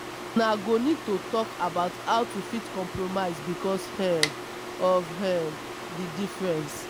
una go need to talk about how to fit compromise because um of um di differences